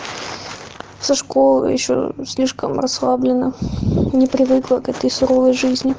со школы ещё слишком расслабленно не привыкла как ты к суровой жизни